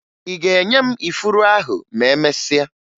Ị ga-enye m ifuru ahụ ma emesịa?